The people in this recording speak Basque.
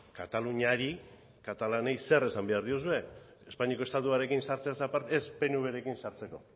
kataluniari katalanei zer esan behar diozue espainiako estatuarekin sartzeaz aparte ez pnvrekin sartzeko